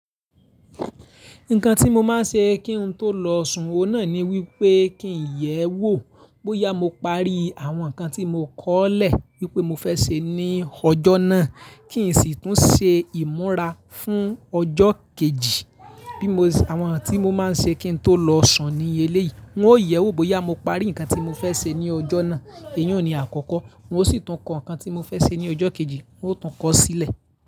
Nǹkan tí mo máa ṣe kí n tó lọ sun o náà ni wípé kí n yẹ̀ ẹ́ wò bóyá mo parí àwọn ǹkan tí mo kọ́lẹ̀ wípé mo fẹ́ ṣe ní ọjọ́ náà kí n sì tún ṣe ìmúra fún ọjọ́ kejì. Bí mo ṣe àwọn n tí mo máa ṣe kí n tó lọ sun ní eléyìí, n ó yẹ̀ ẹ́ wò bóyá mo parí ǹkan tí mo fẹ́ ṣe ní ọjọ́ náà, èyun ní àkọ́kọ́, n o sì tún kọ ǹkan tí mo fẹ́ ṣe ní ọjọ́ kejì, n ó tún kọ sílẹ̀.